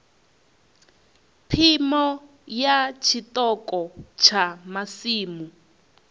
phimo ya tshiṱoko tsha masimu